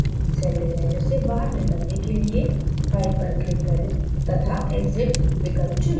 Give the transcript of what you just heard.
celldesigner से बाहर निकलने के लिए file पर click करें to exit विकल्प चुनें